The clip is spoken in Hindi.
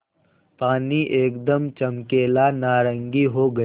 पानी एकदम चमकीला नारंगी हो गया